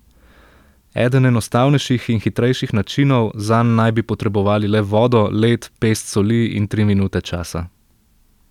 Eden enostavnejših in hitrejših načinov, zanj naj bi potrebovali le vodo, led, pest soli in tri minute časa.